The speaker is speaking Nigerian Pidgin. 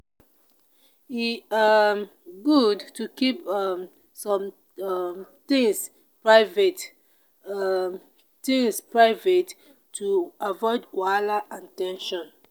e um good to keep um some um things private um things private to avoid wahala and ten sion.